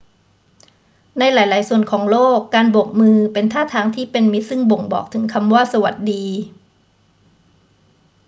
ในหลาย ๆ ส่วนของโลก การโบกมือเป็นท่าทางที่เป็นมิตรซึ่งบ่งบอกถึงคำว่า สวัสดี